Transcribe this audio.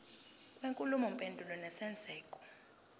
kwenkulumo mpendulwano nesenzeko